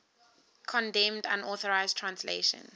condemned unauthorized translations